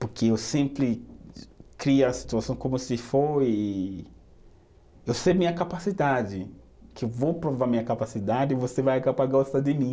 Porque eu sempre crio a situação como se foi, eu sei minha capacidade, que eu vou provar minha capacidade e você vai acabar gostar de mim.